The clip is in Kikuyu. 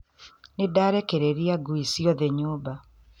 Nĩ ndarekereria ngui ciothe nyũmba